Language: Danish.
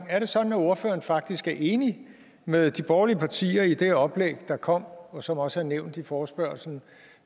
er det sådan at ordføreren faktisk er enig med de borgerlige partier i det oplæg der kom og som også er nævnt i forespørgslen